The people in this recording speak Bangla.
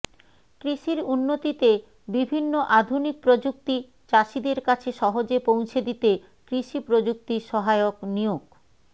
কৃষির উন্নতিতে বিভিন্ন আধুনিক প্রযুক্তি চাষিদের কাছে সহজে পৌঁছে দিতে কৃষি প্রযুক্তি সহায়ক নিয়োগ